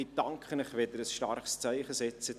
Ich danke Ihnen, wenn Sie ein starkes Zeichen setzen.